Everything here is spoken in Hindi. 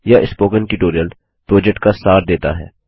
यह स्पोकन ट्यूटोरियल प्रोजेक्ट का सार देता है